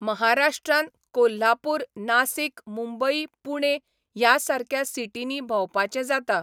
महाराष्ट्रान कोल्हापूर, नासीक, मुंबई, पुणे, ह्या सारक्या सिटीनी भोंवपाचें जाता.